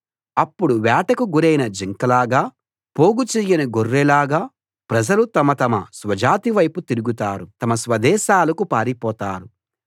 అప్పుడు వేటకు గురైన జింకలాగా పోగుచెయ్యని గొర్రెల్లాగా ప్రజలు తమ తమ స్వజాతి వైపు తిరుగుతారు తమ స్వదేశాలకు పారిపోతారు